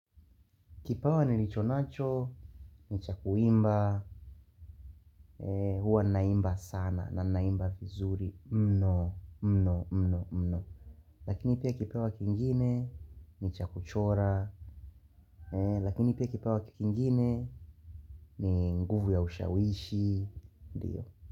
Kipawa nilicho nacho, ni cha kuimba, huwa naimba sana na naimba vizuri mno mno mno mno. Lakini pia kipawa kingine ni cha kuchora, lakini pia kipawa kingine ni nguvu ya ushawishi, ndiyo.